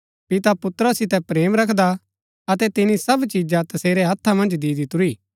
पिता पुत्रा सितै प्रेम रखदा अतै तिनी सब चिजा तसेरै हत्था मन्ज दि दितुरी